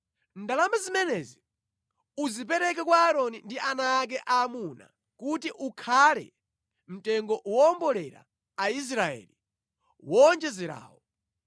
Ndalama zimenezi uzipereke kwa Aaroni ndi ana ake aamuna kuti ukhale mtengo woombolera Aisraeli woonjezerawo.”